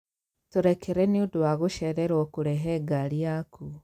Tũrekere nĩ ũndũ wa gũcererwo kũrehe ngaari yaku